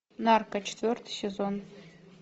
нарко четвертый сезон